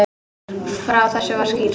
Frá þessu var skýrt.